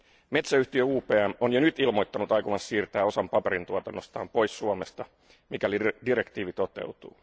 Metsäyhtiö UPM on jo nyt ilmoittanut aikovansa siirtää osan paperintuotannostaan pois Suomesta, mikäli direktiivi toteutuu.